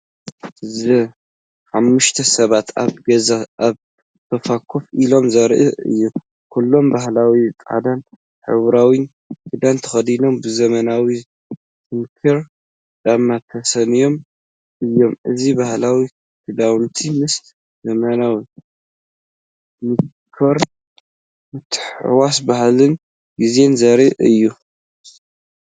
እዚ ሓሙሽተ ሰባት ኣብ ገዛ ኣብ ሶፋ ኮፍ ኢሎም ዘርኢ እዩ። ኩሎም ባህላዊ ጻዕዳን ሕብራዊን ክዳን ተኸዲኖም፡ ብዘመናዊ ሲንከር ጫማ ተሰንዮም እዮም። እዚ ባህላዊ ክዳውንቲ ምስ ዘመናዊ ዲኮር ምትሕውዋስ ባህልን ግዜን ዘርኢ እዩ።